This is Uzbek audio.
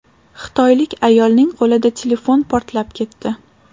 Xitoylik ayolning qo‘lida telefon portlab ketdi.